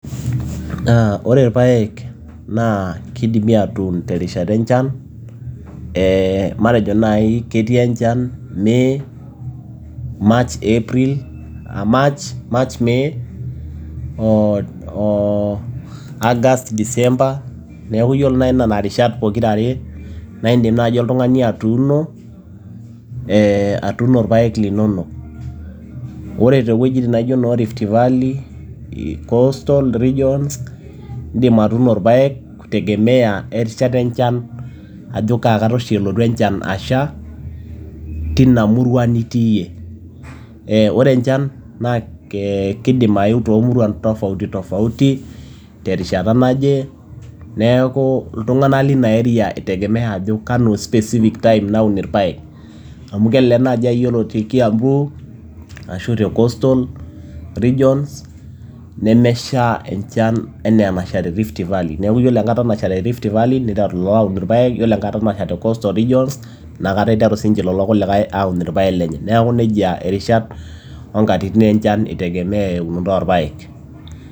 Ore ilpaek naa keidimi atuun terishata enchan ee matejo naaji ketii enchan May, March, April May, August, December neaku duo ore inena rishart pokira are naa idim oltung'ani atuuno ilpaek linonok. Ore too wejitin naijo noo Rift Valley, Castal regions, idim atuuno ilpaek kutegemea erishata enchan ajo kaa kata oshi elotu enchan asha teina murua nitii iyie. Ore enchan naa keidim aeu too muruan tofauti tofauti terishata naje, neaku iltung'anak leina area eitegemea ajo kanu specific time naun ilpaek, amu kelelek naaji iyiolo te Kiambuu ashu tecoastal region nemesha enchan anaa enasha te ift Valley, neaku ore enkata tasha te Rift Valley, neiteru iltung'anak aun ilpaek, iyiolo enkata nasha te coastal regions inakata eiterun sii lelo kulikae aun ilpaek lenye. Neaku neija irishat o nkatitin enchan eitegemea eunoto oo lpaek.